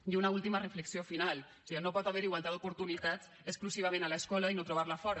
i una última reflexió final o siga no pot haver hi igualtat d’oportunitats exclusivament a l’escola i no trobar la a fora